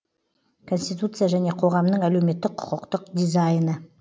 конституция және қоғамның әлеуметтік құқықтық дизайны